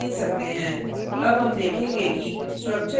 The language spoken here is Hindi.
आप कोई भी name दे सकते हैं